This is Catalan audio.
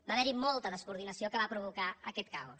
va haver hi molta descoordinació que va provocar aquest caos